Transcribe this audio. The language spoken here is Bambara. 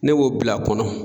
Ne b'o bila a kɔnɔ